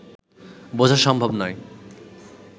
বোঝা সম্ভব নয়